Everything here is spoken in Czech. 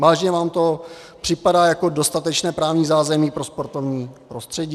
Vážně vám to připadá jako dostatečné právní zázemí pro sportovní prostředí?